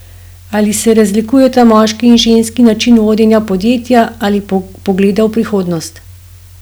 Ali se razlikujeta moški in ženski način vodenja podjetja ali pogleda v prihodnost?